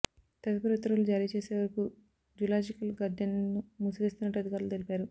తదుపరి ఉత్తర్వులు జారీ చేసేవరకూ జులాజికల్ గార్డెన్ ను మూసివేస్తున్నట్టు అధికారులు తెలిపారు